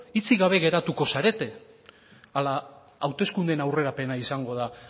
hitzik gabe geratuko zarete ala hauteskundeen aurrerapena izango da